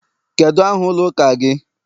Kedu aha ụlọ ụka gị?